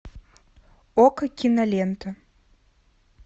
окко кинолента